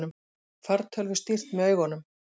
Fartölvu stýrt með augunum